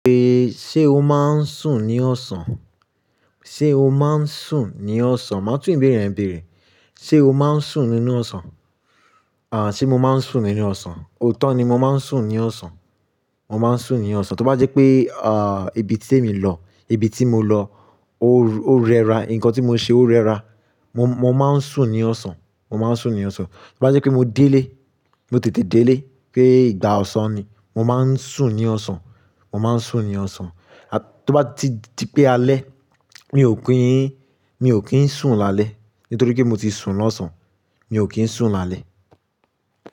Ṣe o maa n sun ni ọ̀sán? Ṣe o maa n sun ni ọ̀sán? Ma tun ìbéèrè yẹn bẹ̀rẹ̀. Ṣe o maa n sun nínú ọ̀sán? À, ṣe mo maa n sun nínú ọ̀sán? Ootọ ni, mo maa n sun ni ọ̀sán. Mo maa n sun ni ọ̀sán. Toba jẹpe, à, ibi ti emi lọ, ibi ti mo lọ, o rẹra, nkan ti mo ṣe o rẹra, mo, mo maa n sun ni ọ̀sán. Mo maa n sun ni ọ̀sán. Toba jẹpe mo de ilé, mo tètè de ilé, pe igba ọ̀sán ni, mo maa n sun ni ọ̀sán. Mo maa n sun ni ọ̀sán. Toba ti, ti pe alẹ mi o kín, mi o kín sun lale nitori ki mo ti sun lọ̀sán. Mi o kín sun lale.